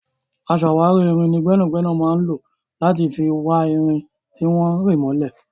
Aṣàwárí irin ni gbẹ́nàgbẹ́nà máa ń lò láti fi wá irin tí wọ́n rì mọ́lẹ̀.